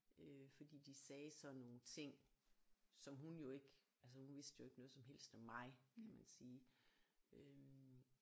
Øh fordi de sagde sådan nogle ting som hun jo ikke altså hun vidste jo ikke noget som helst om mig kan man sige øh